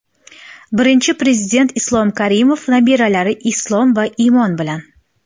Birinchi Prezident Islom Karimov nabiralari Islom va Imon bilan.